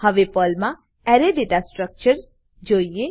હવે પર્લમા અરે દાતા સ્ટ્રકચર જોઈએ